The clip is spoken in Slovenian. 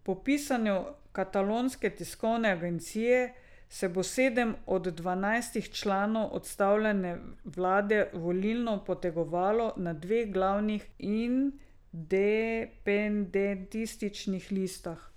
Po pisanju katalonske tiskovne agencije se bo sedem od dvanajstih članov odstavljene vlade volilno potegovalo na dveh glavnih independentističnih listah.